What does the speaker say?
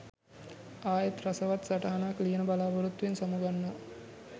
ආයෙත් රසවත් සටහනක් ලියන බලාපොරොත්තුවෙන් සමුගන්නවා